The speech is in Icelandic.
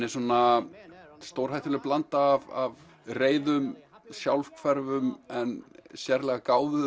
er stórhættuleg blanda af reiðum sjálfhverfum en sérlega